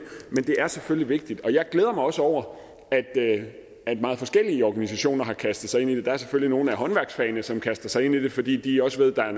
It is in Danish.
er selvfølgelig vigtigt jeg glæder mig også over at meget forskellige organisationer har kastet sig ind i det der er selvfølgelig nogle af håndværksfagene som kaster sig ind i det fordi de også ved at der er